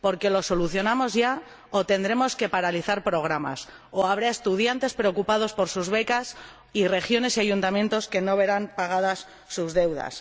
Lo solucionamos ya o tendremos que paralizar programas, y habrá estudiantes preocupados por sus becas, y regiones y ayuntamientos que no verán pagadas sus deudas.